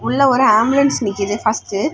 உள்ள ஒரு ஆம்புலன்ஸ் நிக்குது ஃபர்ஸ்ட்டு .